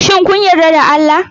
Shin kun yarda da Allah?